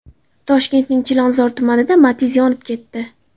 Toshkentning Chilonzor tumanida Matiz yonib ketdi.